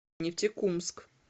нефтекумск